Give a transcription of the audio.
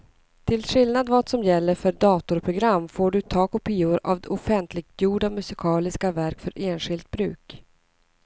Till skillnad från vad som gäller för datorprogram får du ta kopior av offentliggjorda musikaliska verk för enskilt bruk.